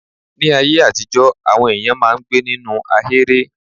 Ní aye àtijọ́ àwọn èyàn máà ń gbé ninu ahèré.